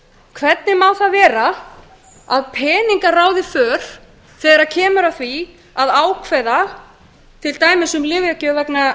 hvernig má það vera að peningar ráði för þegar kemur að því að ákveða til dæmis lyfjagjöf vegna